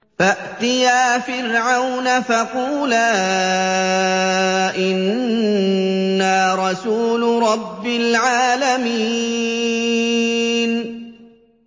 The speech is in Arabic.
فَأْتِيَا فِرْعَوْنَ فَقُولَا إِنَّا رَسُولُ رَبِّ الْعَالَمِينَ